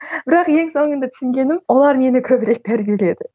бірақ ең соңында түсінгенім олар мені көбірек тәрбиеледі